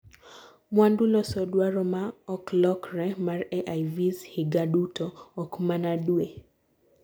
mwandu loso dwaro maa oklokre mar AIVs higa duto, okmana due